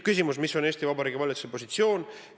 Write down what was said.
Küsimus, mis on Eesti Vabariigi valitsuse positsioon?